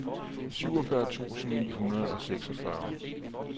syvogfyrre tusind ni hundrede og seksogfyrre